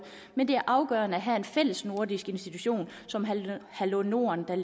men det er afgørende at have en fællesnordisk institution som hallo hallo norden der